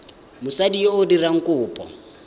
mosadi yo o dirang kopo